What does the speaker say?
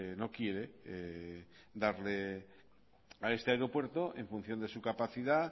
no quiere darle a este aeropuerto en función de su capacidad